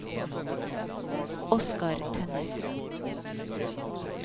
Oscar Tønnessen